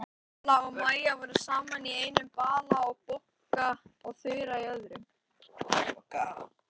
Vala og Maja voru saman í einum bala og Bogga og Þura í öðrum.